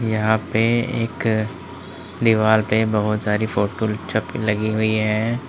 यहां पे एक दीवाल पे बोहोत सारी फोटो छप लगी हुई हैं।